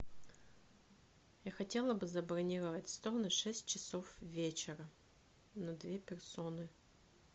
я хотела бы забронировать стол на шесть часов вечера на две персоны